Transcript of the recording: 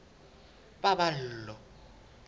paballo